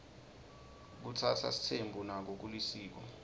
kutsatsa sitsembu nako kulisiko